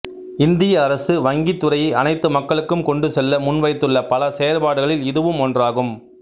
இந்திய அரசு வங்கித்துறையை அனைத்து மக்களுக்கும் கொண்டு செல்ல முன்வைத்துள்ள பல செயற்பாடுகளில் இதுவும் ஒன்றாகும்